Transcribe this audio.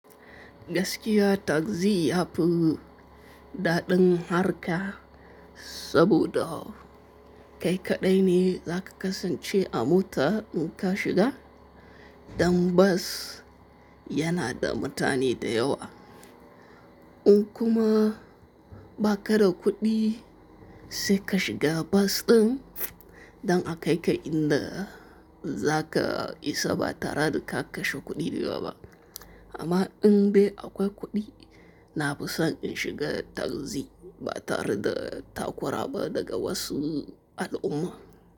Gaskya takzi yafi mun daɗin harƙa, saboda kai kaɗai ne daka kasance a mota in ka shiga don bos yana da mutane da yawa. In kuma ba ka da kuɗi sai ka shiga bas ɗin, dan a kai ka inda za ka isa ba tare da ka kashe kuɗi da yawa ba. Amma in bai akwai kuɗi na fi son in shiga taxi ba tare da takura ba daga wasu al'umma.